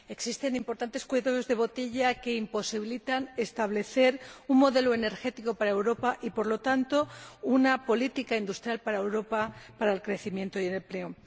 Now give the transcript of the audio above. Existen importantes cuellos de botella que imposibilitan establecer un modelo energético para Europa y, por lo tanto, una política industrial para Europa, para el crecimiento y el empleo.